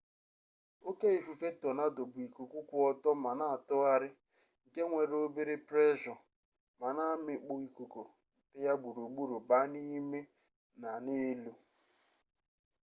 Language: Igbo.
oke ifufe tonado bụ ikuku kwụ ọtọ ma na-atụgharị nke nwere obere preshọ ma na-amịkpu ikuku dị ya gburugburu baa n'ime na n'elu